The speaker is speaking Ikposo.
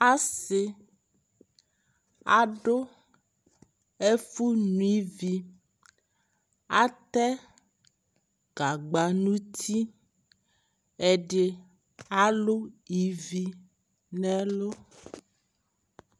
Asi adu ɛku ni viAtɛ gagba nu ti Ɛdi alu ivi nɛ lu